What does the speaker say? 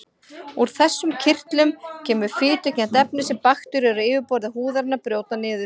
Úr þessum kirtlum kemur fitukennt efni sem bakteríur á yfirborði húðarinnar brjóta niður.